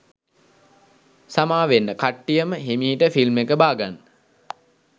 සාමවෙන්න කට්ටියම හෙමිහිට ෆිල්ම් එක බාගන්න.